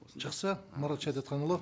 жақсы марат шәдетханұлы